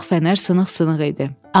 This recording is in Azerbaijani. Sağ fənər sınıq-sınıq idi.